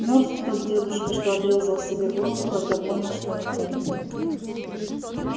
мёртв тот дедушка что отрезал себе голову когда понял что натворил